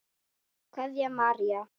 Kveðja, María.